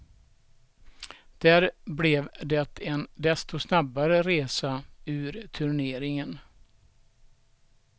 Där blev det en desto snabbare resa ur turneringen.